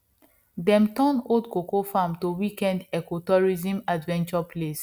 dem turn old cocoa farm to weekend ecotourism adventure place